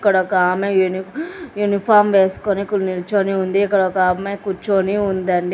ఇక్కడ ఒక ఆమె యుని యూనిఫామ్ వేసుకొని నిల్చుని ఉంది ఇక్కడ ఒక అమ్మాయి కూర్చుని ఉందండి.